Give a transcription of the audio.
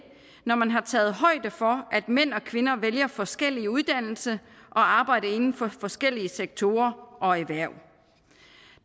når man har taget højde for at mænd og kvinder vælger forskellige uddannelser og arbejder inden for forskellige sektorer og erhverv